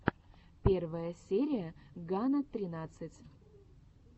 первая серия гана тринадцать